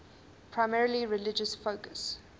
primarily religious focus